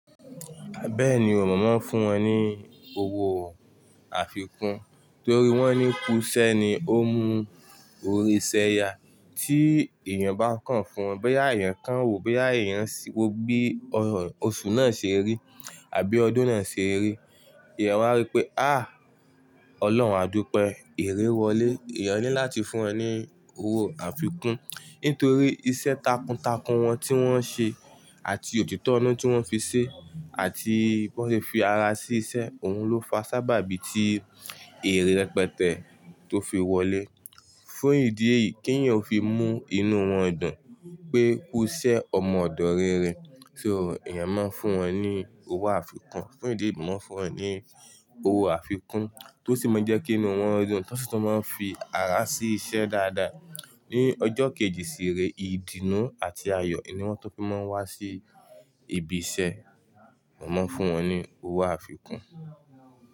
Bẹ́ẹ̀ni, mọ̀ mọ́ fún wọn ní owó àfikún torí wọ́n ní kú iṣẹ́ ni ó mú orí s'ẹyà. Tí èèyàn bá kàn fún wọn, bóyá èèyàn kàn wò, bóyá èèyàn ṣíwọ́ bí oṣù náà ṣe rí àbí ọdún náà ṣe rí, èèyàn máa rí pé, àh! Ọlọ́run á dúpẹ́, èrè wọlé. Eyan ni láti fún ẹ ní owó àfikún nítorí iṣẹ́ takuntakun wọn tí wọ́n ṣe àti òtítọ́ inu tí wọ́n fi ṣe àti bóyá fi ara sí iṣẹ́, òun ló fa sábàbí tí èrè rẹpẹtẹ tó fi wọlé. Fún ìdí èyí kì í yàn fi mú inú wọn dùn pé kú iṣẹ́ ọmọ ọ̀dọ̀ rere. So èèyàn máa ń fún wọn ní owó àfikún. Fún ìdí èyí wọ́n fún wọn ní owó àfikún tó sì máa jẹ́ kí inú wọn dùn. Tó si tu máa ń fi ara sí iṣẹ́ dáadáa. Ni ọjọ́ kejì ìsere ìdùnnú àti ayọ̀ ni wọ́n tún fi máa ń wá sí ibi iṣẹ́. Mọ̀mọ́ fún wọn ní owó àfikún.